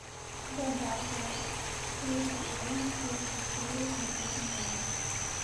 гадалка третий сезон четвертая серия смотреть онлайн